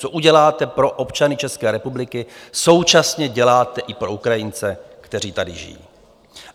Co uděláte pro občany České republiky, současně děláte i pro Ukrajince, kteří tady žijí.